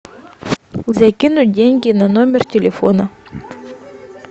закинуть деньги на номер телефона